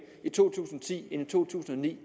i to tusind og ti end i to tusind og ni